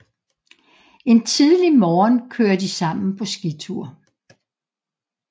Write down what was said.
En tidlig morgen kører de sammen på skitur